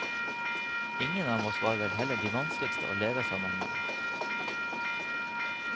Ingen av oss var vel heller de vanskeligste å leve sammen med.